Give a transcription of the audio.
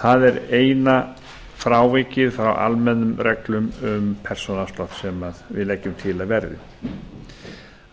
það er eina frávikið frá almennum reglum um persónuafslátt sem við leggjum til að verði